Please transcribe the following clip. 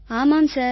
ஆமாம் சார்